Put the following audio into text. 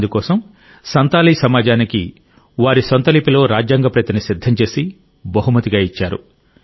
అందుకోసం సంతాలీ సమాజానికి వారి సొంత లిపిలో రాజ్యాంగ ప్రతిని సిద్ధం చేసి బహుమతిగా ఇచ్చాడు